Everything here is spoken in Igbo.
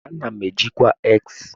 Ana m eji ngwa X.